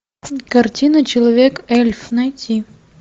картина человек эльф найти